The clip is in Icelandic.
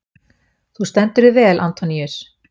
Þú stendur þig vel, Antoníus!